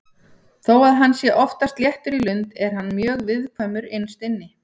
Þó að hann sé oftast léttur í lund er hann mjög viðkvæmur innst inni.